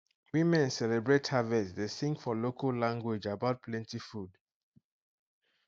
women celebrate harvest dey sing for local language about plenty food